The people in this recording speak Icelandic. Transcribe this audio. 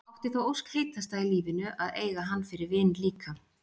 Átti þá ósk heitasta í lífinu að eiga hann fyrir vin líka.